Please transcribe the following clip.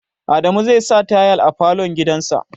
Adamu zai sa tayal a falo gidan sa